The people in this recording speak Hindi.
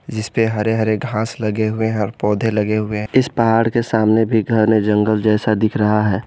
जिस पे हरे हरे घास लगे हुए हैं और पौधे लगे हुए हैं इस पहाड़ के सामने भी घने जंगल जैसा दिख रहा है।